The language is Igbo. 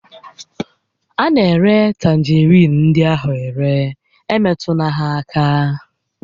A na-ere tanjeriin ndị ahụ are, emetụla ha aka!